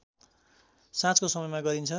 साँझको समयमा गरिन्छ